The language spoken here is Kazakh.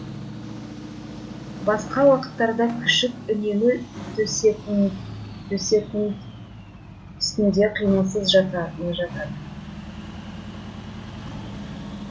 басқа уақыттарда күшік үнемі төсектін үстінде қимылсыз жата жатады